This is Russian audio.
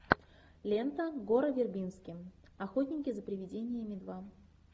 лента гора вербински охотники за приведениями два